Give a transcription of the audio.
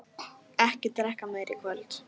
Ekki drekka meira í kvöld.